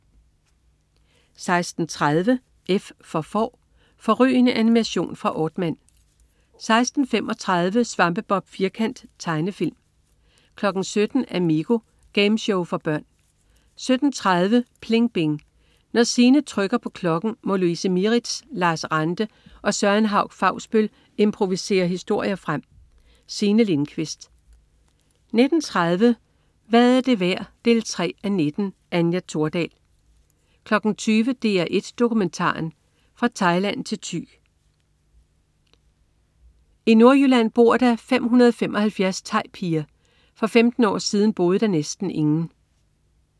16.30 F for Får. Fårrygende animation fra Aardman 16.35 Svampebob Firkant. Tegnefilm 17.00 Amigo. Gameshow for børn 17.30 PLING BING. Når Signe trykker på klokken, må Louise Mieritz, Lars Ranthe og Søren Hauch-Fausbøll improvisere historien frem. Signe Lindkvist 19.30 Hvad er det værd 3:19. Anja Thordal 20.00 DR1 Dokumentaren. Fra Thailand til Thy. I Nordjylland bor der 575 thaipiger. For 15 år siden boede der næsten ingen!